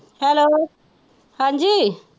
Hello ਹਾਂਜ਼ੀ।